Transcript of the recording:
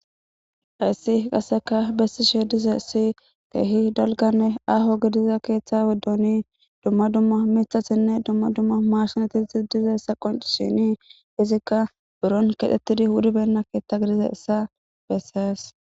Hayssi qasseka bessi she dize si teehi dalganne aaho gidiza keeththa weddoni dumma dumma mithasinne dumma dumma maarshinatii dizessa qonci shini izikka buron kedhettidi wudibenna keeththa gidiza issa bessees.